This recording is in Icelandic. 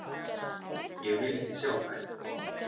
Ég vil ekki sjá þær.